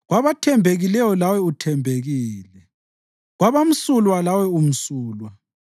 Kwabathembekileyo lawe uthembekile, kwabamsulwa lawe umsulwa.